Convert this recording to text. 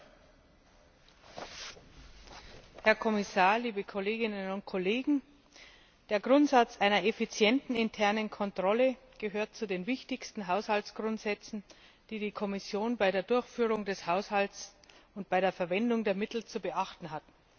Frau Präsidentin, Herr Kommissar, liebe Kolleginnen und Kollegen! Der Grundsatz einer effizienten internen Kontrolle gehört zu den wichtigsten Haushaltsgrundsätzen, die die Kommission bei der Durchführung des Haushalts und bei der Verwendung der Mittel zu beachten hat.